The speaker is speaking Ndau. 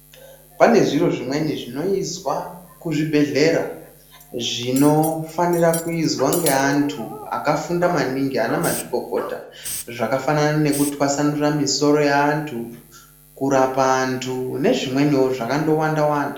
Pane zviri zvimweni zvinoizwa kuzvibhedhlera zvinofanira kuizwa ngeantu vakafunda maningi anamazvikokota zvakafanana nekutwasanura misoro yeantu, kurapa antu nezvimweniwo zvakandowanda wanda.